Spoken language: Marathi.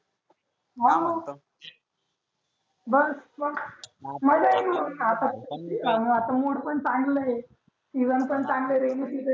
हा बरं मजा येती मग मुड पण चांगला आहे. सिझन पण चांगल आहे.